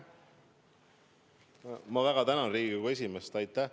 Ma väga tänan Riigikogu esimeest!